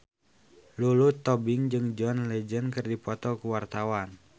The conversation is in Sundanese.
Lulu Tobing jeung John Legend keur dipoto ku wartawan